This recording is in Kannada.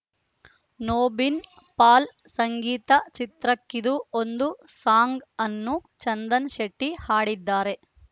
ನೋಬಿನ್‌ ಪಾಲ್‌ ಸಂಗೀತ ಚಿತ್ರಕ್ಕಿದ್ದು ಒಂದು ಸಾಂಗ್‌ ಅನ್ನು ಚಂದನ್‌ಶೆಟ್ಟಿಹಾಡಿದ್ದಾರೆ